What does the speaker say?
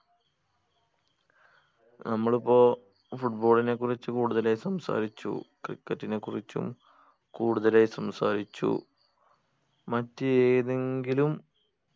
നമ്മളിപ്പോ football നെ കുറിച്ച് കൂടുതലായി സംസാരിച്ചു cricket നെ കുറിച്ചും കൂടുതലായി സംസാരിച്ചു മറ്റു ഏതെങ്കിലും